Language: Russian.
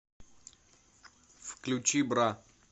включи бра